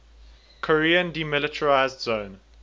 korean demilitarized zone